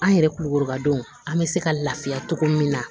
An yɛrɛ kulukoro ka don an bɛ se ka lafiya togo min na